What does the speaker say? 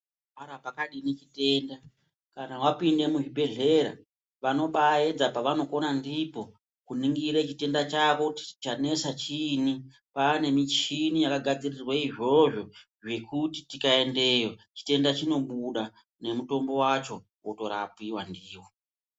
Para pakadini chitenda, kana wapinde muzvibhedhlera vanobaaedza pavanokona ndipo kuningire chitenda chako kuti chanesa chiinyi. Kwaane michini yakagadzirirwe izvozvo yekuti tikaendeyo chitenda chinobuda nemutombo wacho, wotorapiwa ndiyo.